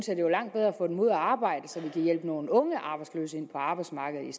jeg det var langt bedre at få dem ud at arbejde så vi i hjælpe nogle unge arbejdsløse ind på arbejdsmarkedet